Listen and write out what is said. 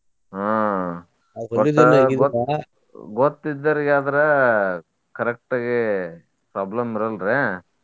ಹ್ಮ್ ಒಟ್ಟ ಗೊತ್ತ್ ಇದ್ದವ್ರಿಗಾದ್ರ correct ಗೆ problem ಬರಲ್ರೆ.